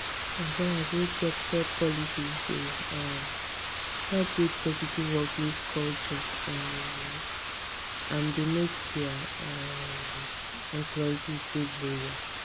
employers wey get fair policies dey um help build positive workplace culture um and dey make dia um employees dey loyal